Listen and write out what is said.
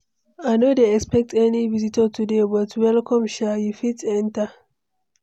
I no dey expect any visitor today, but welcome sha. You fit enter.